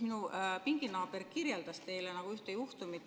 Minu pinginaaber kirjeldas teile ühte juhtumit.